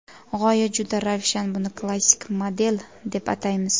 G‘oya juda ravshan, buni klassik model deb ataymiz.